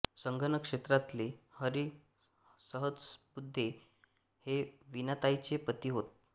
संगणक क्षेत्रातले हरी सहस्रबुद्धे हे वीणाताईंचे पती होत